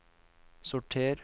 sorter